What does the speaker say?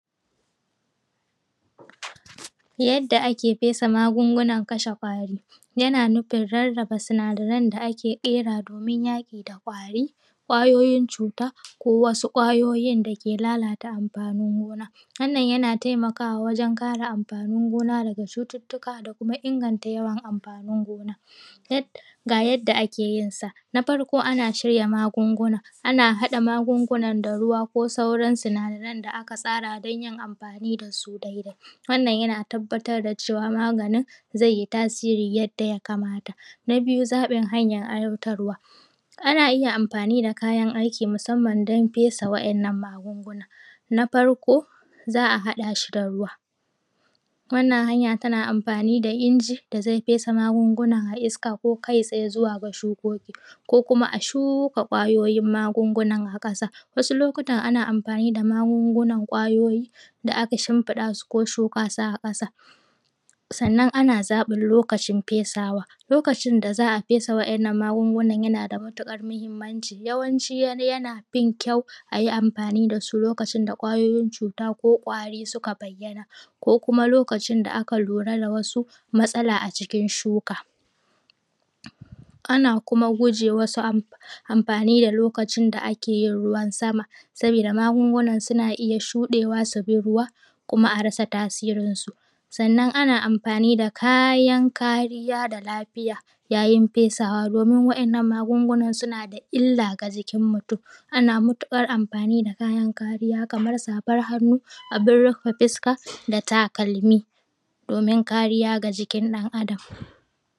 Yadda ake fesa magungunan kashe ƙwari yana nufin rarraba sinadaran da ake ƙerawa domin yaƙi da ƙwari, ƙwayoyin cuta ko wasu ƙwayoyin da ke lalata amfanin gona wannan yana taimakawa wajen kare amfanin gona daga cututtuka da kuma inganta yawan amfanin gona. Ga yadda ake yin sa. Na farko ana shirya magunguna ana haɗa magungunan da ruwa ko sauran sinadaran da aka tsara don yin amfani da su dai dai. Wannan yana tabbatar da cewa maganin zai yi tasiri yadda ya kamata. Na biyu zaɓin hanyan aiwatarwa. Ana iya amfani da kayan aiki musanman don fesa wa'innan magungunan na farko za a haɗa shi da ruwa wannana hanya tana amfani da inji da zai fesa magungunan a iska ko kai tsaye zuwa ga shukoki ko kuma a shuka ƙwayoyin magungunan a ƙasa wasu lokutan ana amfani da magungunan ƙwayoyi da aka shimfiɗa su ko shuka su a ƙasa. Sannan a na zaɓin lokacin fesawa lokacin da za a fesa wa'innan magungunan yana da matuƙar muhinmanci yawanci yana fin kyau ayi amfani da shi lokacin da ƙwayoyin cuta ko ƙwari suka bayyana ko kuma lokacin da aka lura da wasu matsala a jikin shuka. Ana guje wasu amfani da lokacin da ake ruwan sama saboda magungunan suna iya shudewa su bi ruwa kuma a rasa tasirin su, sannan ana amfani da kayan kariya da lafiya yayi fesawa domin wa'innan magungunan suna da illa ga jikin mutum ana matuƙar amfani da kayan kariya kamar safan hannu, abin rufe fuska da takalmi domin kariya ga jikin ɗan Adam.